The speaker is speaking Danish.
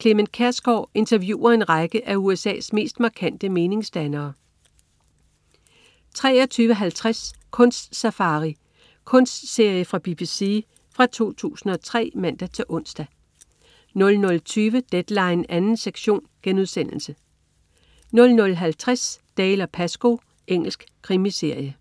Clement Kjersgaard interviewer en række af USA's mest markante meningsdannere 23.50 Kunst-safari. Kunstserie fra BBC fra 2003 (man-ons) 00.20 Deadline 2. sektion* 00.50 Dalziel & Pascoe. Engelsk krimiserie